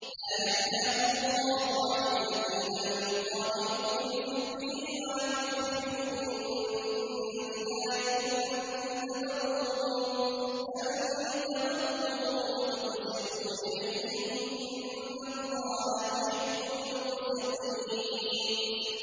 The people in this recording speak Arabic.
لَّا يَنْهَاكُمُ اللَّهُ عَنِ الَّذِينَ لَمْ يُقَاتِلُوكُمْ فِي الدِّينِ وَلَمْ يُخْرِجُوكُم مِّن دِيَارِكُمْ أَن تَبَرُّوهُمْ وَتُقْسِطُوا إِلَيْهِمْ ۚ إِنَّ اللَّهَ يُحِبُّ الْمُقْسِطِينَ